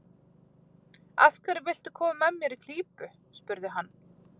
Af hverju viltu koma mér í klípu? spurði hann.